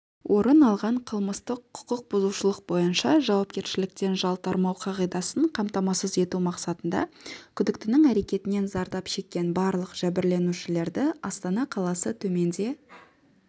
орын алған қылмыстық құқық бұзушылық бойынша жауапкершіліктен жалтармау қағидасын қамтамасыз ету мақсатында күдіктінің әрекетінен зардап шеккен барлық жәбірленушілерді астана қаласы төменде